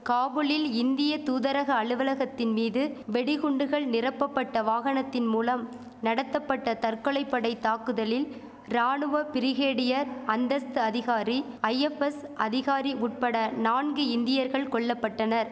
காபுலில் இந்திய தூதரக அலுவலகத்தின் மீது வெடிகுண்டுகள் நிரப்பபட்ட வாகனத்தின் மூலம் நடத்தபட்ட தற்கொலை படை தாக்குதலில் ராணுவ பிரிகேடியர் அந்தஸ்து அதிகாரி ஐஎஃப்எஸ் அதிகாரி உட்பட நான்கு இந்தியர்கள் கொல்லபட்டனர்